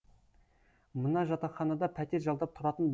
мына жатақханада пәтер жалдап тұратын